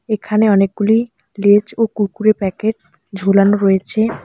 এখানে অনেকগুলি লেজ ও কুরকুরের প্যাকেট ঝুলানো রয়েছে।